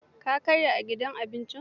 Ka karya a gidan abincin?